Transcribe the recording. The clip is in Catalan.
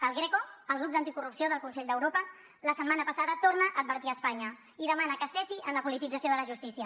el greco el grup d’anticorrupció del consell d’europa la setmana passada torna a advertir espanya i demana que cessi en la politització de la justícia